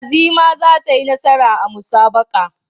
Azima za ta yi nasara a musabaqahn.